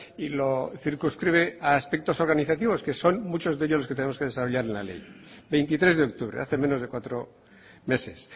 y lo circunscribe a aspectos organizativos que son muchos de ellos los que tenemos que desarrollar en la ley veintitres de octubre hace menos de cuatro meses